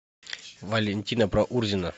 валентина проурзина